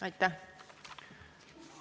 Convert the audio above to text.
Aitäh!